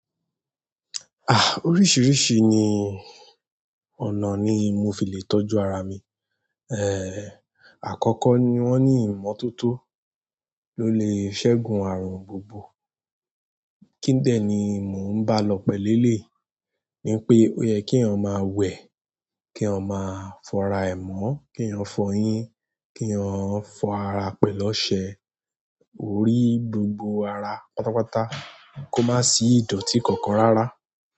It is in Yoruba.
Ah! Oríṣìíríṣi ni ọ̀nà ní mo fi lè tọ́jú ara mi. Eh! Àkọ́kọ́ ni wọ́n ní ìmọ́tótó ló lè ṣẹ́gun àrùn gbogbo. Kí dẹ ni mo ń bá lọ pẹ̀lú elei ni pé ó yẹ kí èyàn máa wẹ, kí èyàn máa fọ ara ẹ mo, k'eyan fọ eyín, k'eyan fọ ara pẹ̀lú ọṣẹ. Orí gbogbo ara pátápátá kó má sì ìdọ̀tí kankan rárá.